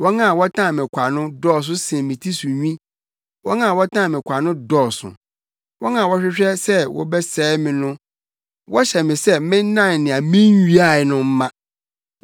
Wɔn a wɔtan me kwa no dɔɔso sen me ti so nwi; wɔn a wɔtan me kwa no dɔɔso, wɔn a wɔhwehwɛ sɛ wɔbɛsɛe me no. Wɔhyɛ me sɛ mennan nea minnwiae no mma.